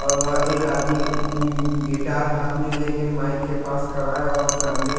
और वहाँ एक आदमी एम्म-गिटार हाथ में लेके माइक के पास खड़ा है और सामने--